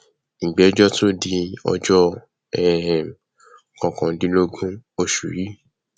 ìgbẹjọ tún di ọjọ um kọkàndínlógún oṣù yìí